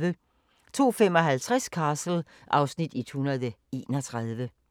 02:55: Castle (Afs. 131)